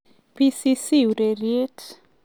BBC Ureriet.